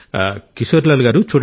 కిశోరీలాల్ గారూ